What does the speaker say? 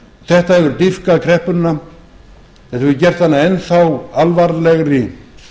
þetta hefur dýpkað kreppuna þetta hefur gert hana enn þá alvarlegri